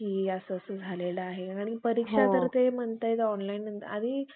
अन्याशी माळाकुं~ कुंड्यास गंडे घालून फसवितात. तथापि त्या बापुड्या दुर्दैवी हतभाग्यास त्या ढोंगी